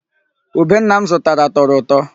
Ube nna m zụtara tọrọ ụtọ.